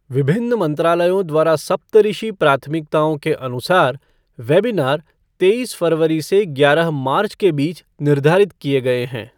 विभिन्न मंत्रालयों द्वारा सप्तऋषि प्राथमिकताओं के अनुसार वेबिनार तेईस फरवरी से ग्यारह मार्च के बीच निर्धारित किए गए हैं।